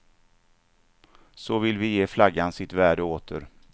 Så vill vi ge flaggan sitt värde åter.